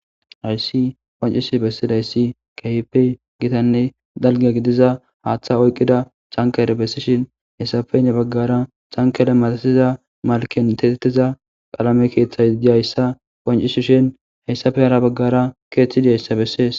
hayssi qancishi bessidayssi kaype gitanne dalge gidiza haaththa oyqqida cankaere bessishin hessafey ne baggara cankele matasiza malken tetettiza qaalame keeththay di hayssa qancishi shin hayssafe hara baggara keeththidihayssa bessees